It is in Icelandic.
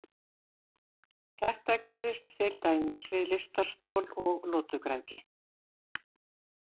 Þetta gerist til dæmis við lystarstol og lotugræðgi.